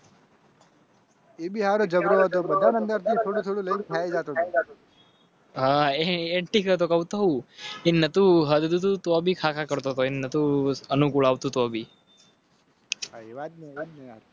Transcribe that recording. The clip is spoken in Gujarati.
એ બિહાર જવા દો બધા થોડું થોડું ખાય. હા, એતો કવ હૂઁ. હા એ ટીકાતો તો તું ભીખા કરતો તો?